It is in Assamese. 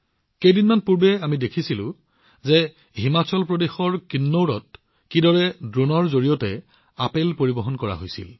কেইদিনমান আগতে আমি দেখিছিলো যে হিমাচল প্ৰদেশৰ কিন্নৌৰত ড্ৰোনৰ জৰিয়তে কেনেদৰে আপেল পৰিবহণ কৰা হৈছিল